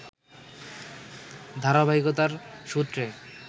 ধারাবাহিকতার সূত্রে